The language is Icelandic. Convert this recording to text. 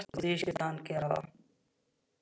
Og því skyldi hann gera það.